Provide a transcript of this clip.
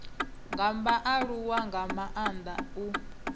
nga vhaaluwa nga maanda u